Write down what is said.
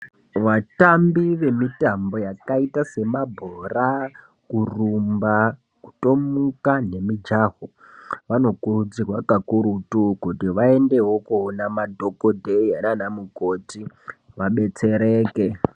Vatambi vemitambo yakaita semabhora , kurumba, kutomuka nemijaho vanokurudzirwa kakurutu kuti vaendewo koona madhokodheya nana mukoti kuti vadetsereke.